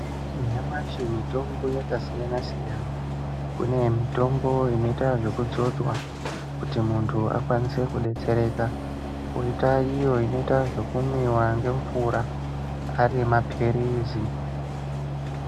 Nyamashi mutombo yakasiyana siyana kune mitombo inoita zvekudzodzwa kuti muntu akone kudetsereka koita iyo inoitwa zvekumwiwa ngemvura ari mapilizi.